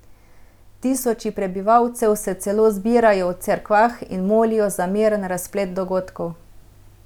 Tisoči prebivalcev se celo zbirajo v cerkvah in molijo za miren razplet dogodkov.